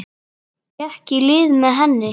Gekk í lið með henni.